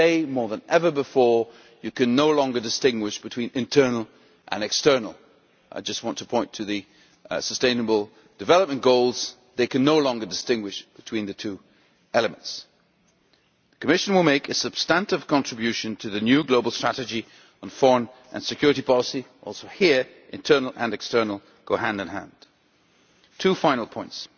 Today more than ever before you can no longer distinguish between internal and external I just want to point to the sustainable development goals, they can no longer distinguish between the two elements. The Commission will make a substantive contribution to the new global strategy on foreign and security policy also, here, internal and external go hand in hand. Two final points.